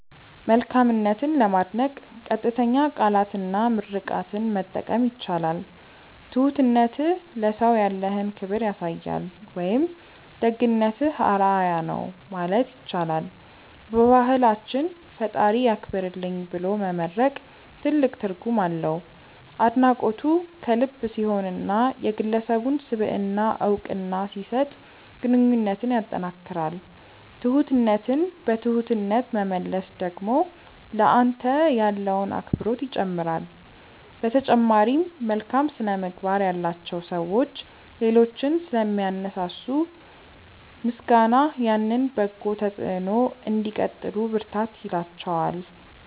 መልካምነትን ለማድነቅ ቀጥተኛ ቃላትና ምርቃትን መጠቀም ይቻላል። "ትሁትነትህ ለሰው ያለህን ክብር ያሳያል" ወይም "ደግነትህ አርአያ ነው" ማለት ይቻላል። በባህላችን "ፈጣሪ ያክብርልኝ" ብሎ መመርቅ ትልቅ ትርጉም አለው። አድናቆቱ ከልብ ሲሆንና የግለሰቡን ስብዕና እውቅና ሲሰጥ ግንኙነትን ያጠናክራል። ትሁትነትን በትሁትነት መመለስ ደግሞ ለአንተ ያለውን አክብሮት ይጨምራል። በተጨማሪም፣ መልካም ስነ-ምግባር ያላቸው ሰዎች ሌሎችን ስለሚያነሳሱ፣ ምስጋናህ ያንን በጎ ተጽዕኖ እንዲቀጥሉ ብርታት ይላቸዋል።